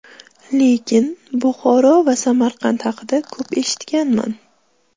Lekin Buxoro va Samarqand haqida ko‘p eshitganman.